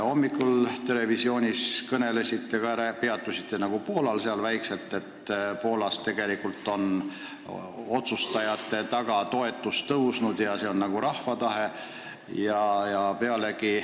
Hommikul televisioonis peatusite ka Poolal, kus otsustajate toetus on tõusnud, nende taga on nagu rahva tahe.